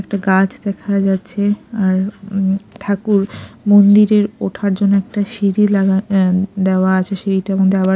একটা গাছ দেখা যাচ্ছে আর উম ঠাকুর মন্দিরের ওঠার জন্য একটা সিঁড়ি লাগা অ্যা দেওয়া আছে সিঁড়িটার মধ্যে আবার--